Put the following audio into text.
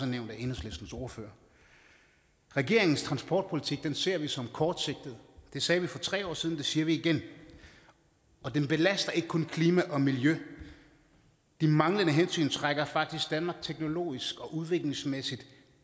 nævnt af enhedslistens ordfører regeringens transportpolitik ser vi som kortsigtet det sagde vi for tre år siden og det siger vi igen og den belaster ikke kun klima og miljø de manglende hensyn trækker faktisk danmark teknologisk og udviklingsmæssigt